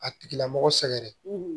A tigila mɔgɔ sɛgɛrɛ